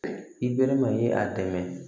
I bɛre ma ye a dɛmɛ